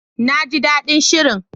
Na ji daɗin shirin.